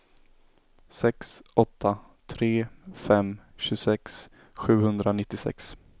sex åtta tre fem tjugosex sjuhundranittiosex